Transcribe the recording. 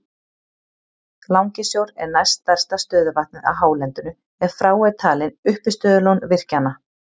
Langisjór er næst stærsta stöðuvatnið á hálendinu ef frá eru talin uppistöðulón virkjanna.